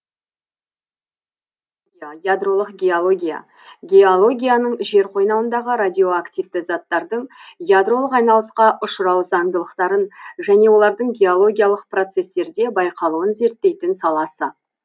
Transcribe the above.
радиогеология ядролық геология геологияның жер қойнауындағы радиоактивті заттардың ядролық айналысқа ұшырау заңдылықтарын және олардың геологиялық процестерде байқалуын зерттейтін саласы